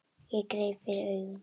Ég gríp fyrir augun.